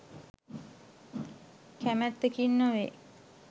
කැමැත්තකින් නොවේ.